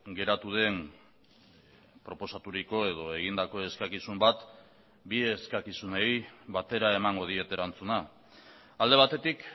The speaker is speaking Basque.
geratu den proposaturiko edo egindako eskakizun bat bi eskakizunei batera emango diet erantzuna alde batetik